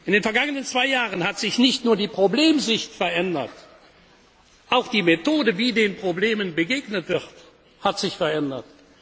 In den vergangenen zwei Jahren hat sich nicht nur die Problemsicht verändert, auch die Methode, wie den Problemen begegnet wird, hat sich verändert.